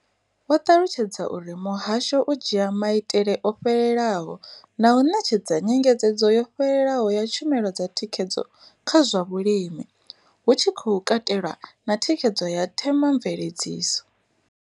Vho ṱalutshedza uri muhasho u dzhia maitele o fhelelaho na u ṋetshedza nyengedzedzo yo fhelelaho ya tshumelo dza thikhedzo kha zwa vhulimi, hu tshi katelwa na thikhedzo ya themamveledziso.